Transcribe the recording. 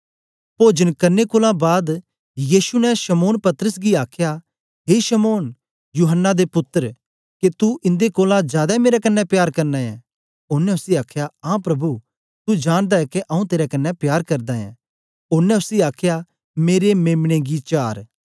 पोजन करने कोलां बाद यीशु ने शमौन पतरस गी आखया ए शमौन यूहत्रा दे पुत्तर के तू इन्दे कोलां जादै मेरे कन्ने प्यार करना ऐ ओनें उसी आखया आं प्रभु तू जानदा ऐं के आऊँ तेरे कन्ने प्यार करदा ऐं ओनें उसी आखया मेरे मेम्ने गी चार